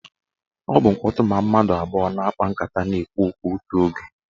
Ọ bụ mkpọtụ ma mmadụ abụọ na-akpa nkata na-ekwu okwu otu oge.